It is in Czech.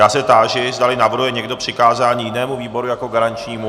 Já se táži, zdali navrhuje někdo přikázání jinému výboru jako garančnímu.